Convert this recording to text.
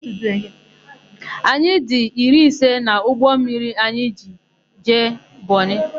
Anyị dị iri ise n'ụgbọmmiri anyị jiri jee Bọnị.